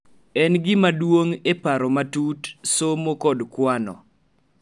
En gima duong� e paro matut, somo, kod kwano;